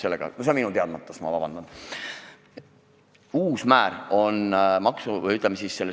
See on minu teadmatus, vabandust!